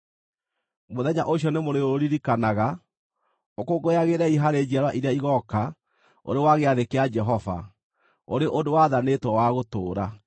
“Mũthenya ũcio nĩmũrĩũririkanaga; ũkũngũyagĩrei harĩ njiarwa iria igooka ũrĩ wa gĩathĩ kĩa Jehova, ũrĩ ũndũ wathanĩtwo wa gũtũũra.